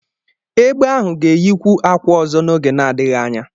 Egbe ahụ ga-eyikwu akwa ọzọ n'oge na-adịghị anya.